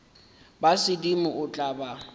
ba sedimo o tla ba